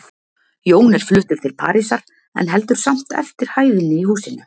Jón er fluttur til Parísar, en heldur samt eftir hæðinni í húsinu.